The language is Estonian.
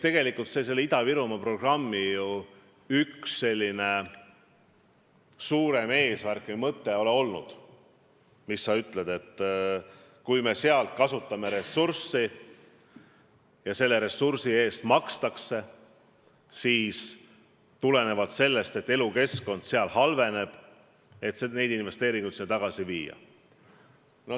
Eks Ida-Virumaa programmi üks suurem eesmärk või mõte on olnudki, et kui me seal kasutame ressurssi ja selle ressursi eest makstakse, siis tulenevalt sellest, et elukeskkond seal halveneb, tuleks see raha just seal kasutusele võtta.